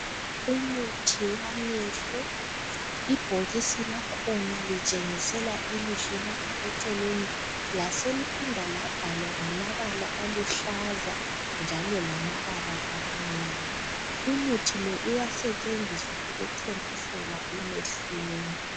Umuthi wamehlo, ibhokisi lakhona litshengisela ilihlo lapha eceleni laseliphinda labhalwa ngamabala aluhlaza njalo lamabala amnyama. Umuthi lo uyasetshenziswa ukuthontisela emehlweni.